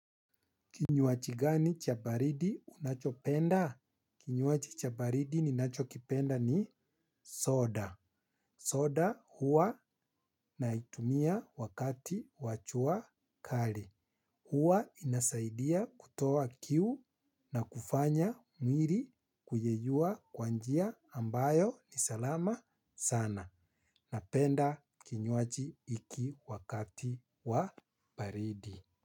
Kinywaji gani cha baridi unachopenda? Kinywaji cha baridi ninachokipenda ni soda. Soda huwa naitumia wakati wa jua kali. Huwa inasaidia kutoa kiu na kufanya mwili kuyeyua kwa njia ambayo ni salama sana. Napenda kinywaji hiki wakati wa baridi.